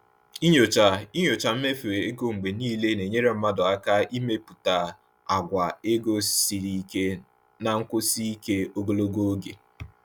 Ịnyochi Ịnyochi mmefu ego mgbe niile na-enyere mmadụ aka ịmepụta àgwà ego siri ike na nkwụsi ike ogologo oge.